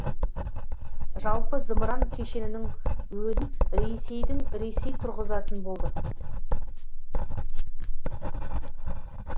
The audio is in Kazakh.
жалпы зымыран кешенінің өзін ресейдің ресей тұрғызатын болды